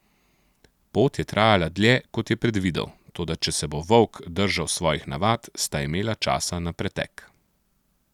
Pot je trajala dlje, kot je predvidel, toda če se bo Volk držal svojih navad, sta imela časa na pretek.